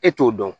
E t'o dɔn